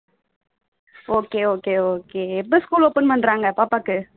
okay okay okay எப்போ school open பண்றாங்க பாப்பாக்கு?